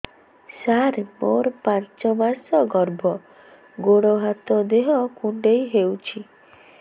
ସାର ମୋର ପାଞ୍ଚ ମାସ ଗର୍ଭ ଗୋଡ ହାତ ଦେହ କୁଣ୍ଡେଇ ହେଉଛି